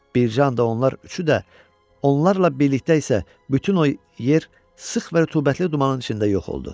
Bir can da onlar üçü də onlarla birlikdə isə bütün o yer sıx və rütubətli dumanın içində yox oldu.